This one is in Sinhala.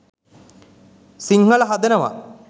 සිංහල හදනවා.